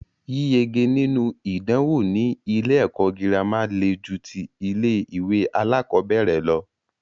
Yíyege nínú ìdánwò ní ilé ẹ̀kọ́ gírámà le ju tí ilé ìwé alákọ̀berẹ̀ lọ.